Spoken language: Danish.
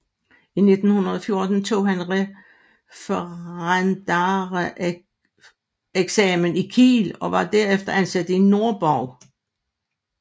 I 1914 tog han referendareksamen i Kiel og var herefter ansat i Nordborg